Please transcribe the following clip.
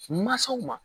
Mansaw ma